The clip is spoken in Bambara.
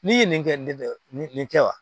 N'i ye nin kɛ nin nin nin nin kɛ wa